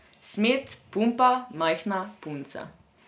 Smet, pumpa, majhna, punca.